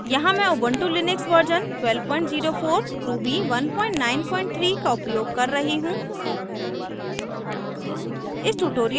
यहाँ मैं Ubuntu Linux version 1204 ruby 193 का उपयोग कर रही हूँ